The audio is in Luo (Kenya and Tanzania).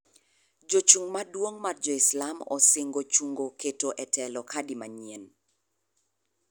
Jochung' maduong' mar jo islam osingo chung'o keto e telo khadi manyien.